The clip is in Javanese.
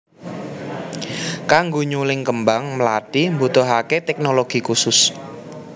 Kanggo nyuling kembang mlathi mbutuhaké téknologi khusus